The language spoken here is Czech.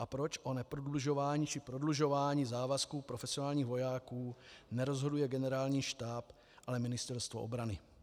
A proč o neprodlužování či prodlužování závazků profesionálních vojáků nerozhoduje Generální štáb, ale Ministerstvo obrany?